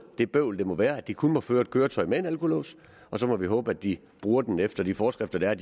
det bøvl det må være at de kun må føre et køretøj med alkolås og så må vi håbe at de bruger den efter de forskrifter der er